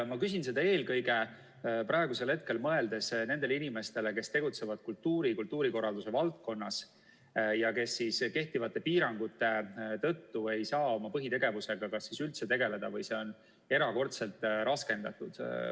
Ma küsin seda, mõeldes praegusel hetkel eelkõige nendele inimestele, kes tegutsevad kultuuri ja kultuurikorralduse valdkonnas ja kes kehtivate piirangute tõttu ei saa oma põhitegevusega kas üldse tegeleda või see on erakordselt raskendatud.